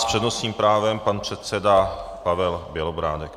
S přednostním právem pan předseda Pavel Bělobrádek.